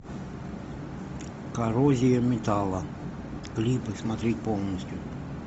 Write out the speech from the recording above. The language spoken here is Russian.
коррозия металла клипы смотреть полностью